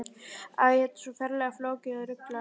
Æ, þetta er svo ferlega flókið. og ruglað.